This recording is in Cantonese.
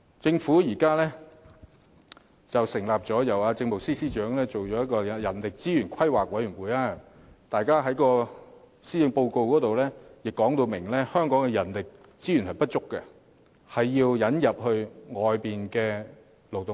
政府現在成立了一個由政務司司長擔任主席的人力資源規劃委員會，而施政報告亦表明香港人力資源不足，需要引入外來勞動力。